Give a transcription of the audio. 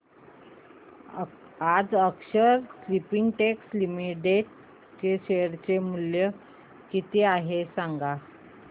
आज अक्षर स्पिनटेक्स लिमिटेड चे शेअर मूल्य किती आहे सांगा